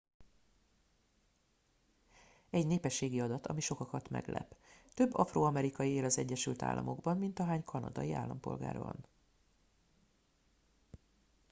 egy népességi adat ami sokakat meglep több afroamerikai él az egyesült államokban mint ahány kanadai állampolgár van